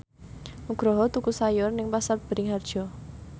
Nugroho tuku sayur nang Pasar Bringharjo